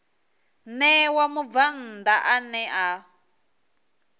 ṋewa mubvann ḓa ane a